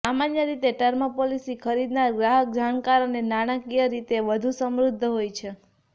સામાન્ય રીતે term policy ખરીદનાર ગ્રાહક જાણકાર અને નાણાકીય રીતે વધુ સમૃદ્ધ હોય છે